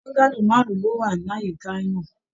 Bọ́ngálò márùn ló wá l'àyíká náà.